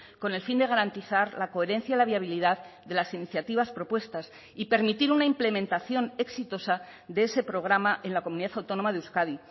con el fin de garantizar la coherencia la viabilidad de las iniciativas propuestas y permitir una implementación exitosa de ese programa en la comunidad autónoma de euskadi